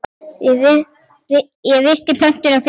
Ég virti plötuna fyrir mér.